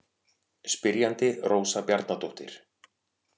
Spyrjandi Rósa Bjarnadóttir.